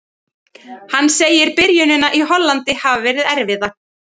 Hann segir byrjunina í Hollandi hafa verið erfiða.